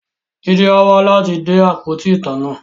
Jide á wá láti de àpótí ìtanná